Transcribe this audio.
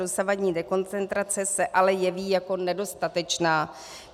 Dosavadní dekoncentrace se ale jeví jako nedostatečná.